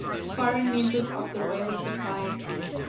foreign members of the royal society